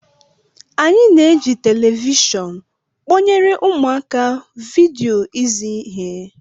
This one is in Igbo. Anyị na-eji telivishọn kpọnyere ụmụaka vidio izi ihe